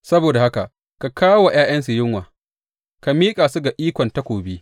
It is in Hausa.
Saboda haka ka kawo wa ’ya’yansu yunwa; ka miƙa su ga ikon takobi.